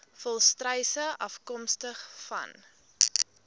volstruise afkomstig vanuit